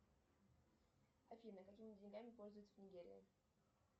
афина какими деньгами пользуются в нигерии